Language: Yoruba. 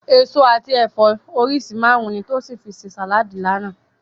Èso àti ẹ̀fọ́ oríṣi márùn-ún ni Tósìn fi ṣe sàláàdì lánàá